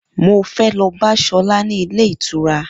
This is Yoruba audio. Mo fẹ́ lọ bá Sola ní ilé ìtura